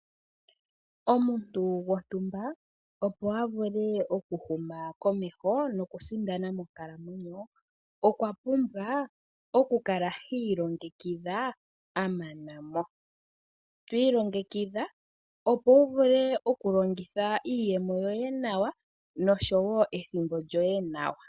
Omuntu gontumba opo a vule oku huma komeho nokusindana monkalamweno nokwa pumbwa oku kala hi ilongekidha a mana mo. Ti ilongekidha opo wu vule oku longitha iiyemo yoye nawa noshowo ethimbo lyoye nawa.